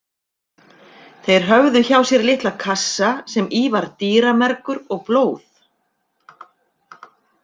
Þeir höfðu hjá sér litla kassa sem í var dýramergur og blóð.